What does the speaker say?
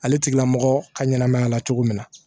Ale tigila mɔgɔ ka ɲɛnamaya la cogo min na